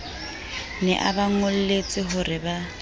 ne a ba ngoletse horeba